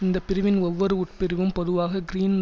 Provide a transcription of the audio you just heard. இந்தப்பிரிவின் ஒவ்வொரு உட்பிரிவும் பொதுவாக கிரீன்